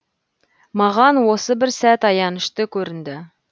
маған осы бір сәт аянышты көрінді